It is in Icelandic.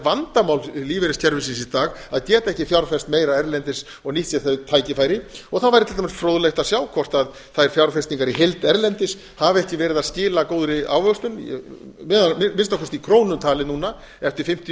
vandamál lífeyriskerfisins í dag að geta ekki fjárfest meira erlendis og nýtt sér þau tækifæri það væri til dæmis fróðlegt að sjá hvort þær fjárfestingar í heild erlendis hafi ekki verið að skila góðri ávöxtun að minnsta kosti í krónum talið núna eftir fimmtíu